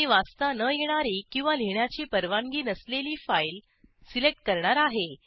मी वाचता न येणारी किंवा लिहिण्याची परवानगी नसलेली फाईल सिलेक्ट करणार आहे